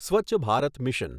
Swachh Bharat mission